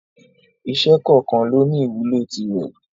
Iṣẹ́ kọ̀ọ̀kan lóní ìwúlò tirẹ̀.